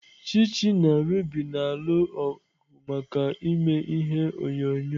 Chichi na Ruby na-alụ ọgụ maka ime ihe onyonyo.